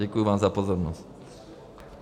Děkuji vám za pozornost.